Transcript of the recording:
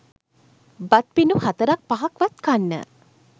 බත් පිඬු හතරක් පහක්වත් කන්න